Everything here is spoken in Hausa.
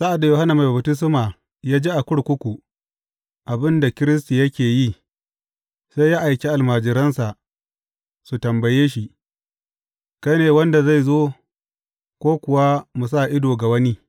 Sa’ad da Yohanna Mai Baftisma ya ji a kurkuku abin da Kiristi yake yi, sai ya aiki almajiransa su tambaye shi, Kai ne wanda zai zo, ko kuwa mu sa ido ga wani?